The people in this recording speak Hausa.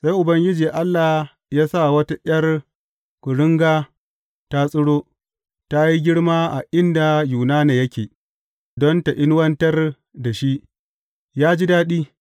Sai Ubangiji Allah ya sa wata ’yar kuringa ta tsiro, ta yi girma a inda Yunana yake, don ta inuwantar da shi, yă ji daɗi.